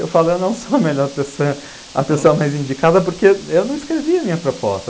Eu falo, eu não sou a melhor pessoa, a pessoa mais indicada, porque eu não escrevi a minha proposta.